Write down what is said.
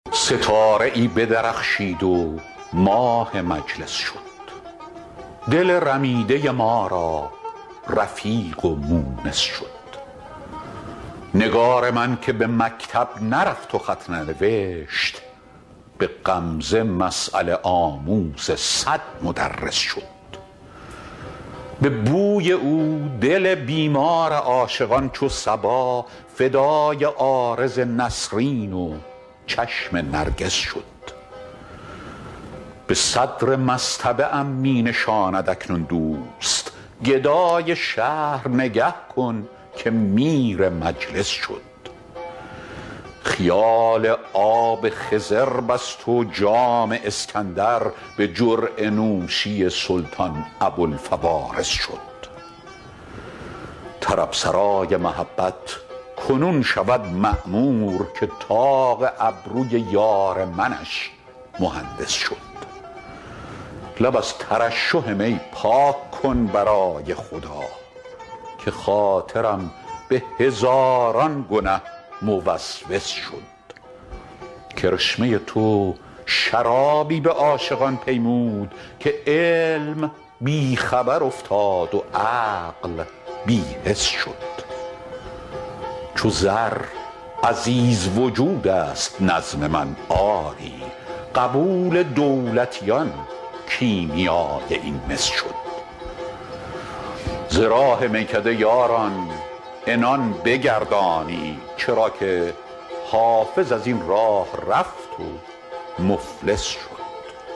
ستاره ای بدرخشید و ماه مجلس شد دل رمیده ما را رفیق و مونس شد نگار من که به مکتب نرفت و خط ننوشت به غمزه مسأله آموز صد مدرس شد به بوی او دل بیمار عاشقان چو صبا فدای عارض نسرین و چشم نرگس شد به صدر مصطبه ام می نشاند اکنون دوست گدای شهر نگه کن که میر مجلس شد خیال آب خضر بست و جام اسکندر به جرعه نوشی سلطان ابوالفوارس شد طرب سرای محبت کنون شود معمور که طاق ابروی یار منش مهندس شد لب از ترشح می پاک کن برای خدا که خاطرم به هزاران گنه موسوس شد کرشمه تو شرابی به عاشقان پیمود که علم بی خبر افتاد و عقل بی حس شد چو زر عزیز وجود است نظم من آری قبول دولتیان کیمیای این مس شد ز راه میکده یاران عنان بگردانید چرا که حافظ از این راه رفت و مفلس شد